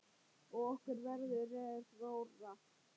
Og okkur verður rórra.